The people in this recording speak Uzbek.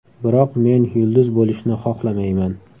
Biroq men yulduz bo‘lishni xohlamayman.